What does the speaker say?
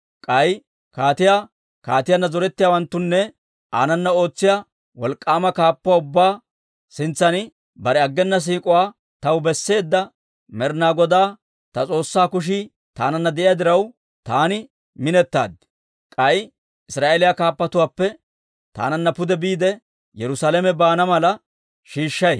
K'ay kaatiyaa, kaatiyaanna zorettiyaawanttunne aanana ootsiyaa wolk'k'aama kaappatuwaa ubbaa sintsan bare aggena siik'uwaa taw besseedda Med'ina Godaa, ta S'oossaa kushii taananna de'iyaa diraw, taani minetaad. K'ay Israa'eeliyaa kaappatuwaappe taananna pude biide, Yerusaalame baana mala shiishshay.